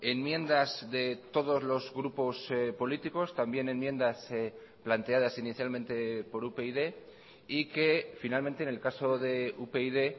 enmiendas de todos los grupos políticos también enmiendas planteadas inicialmente por upyd y que finalmente en el caso de upyd